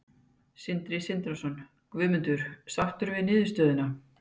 Sindri Sindrason: Guðmundur, sáttur við niðurstöðuna?